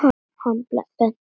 Hann benti á lykla.